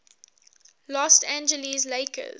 los angeles lakers